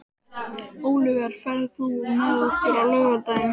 Ólíver, ferð þú með okkur á laugardaginn?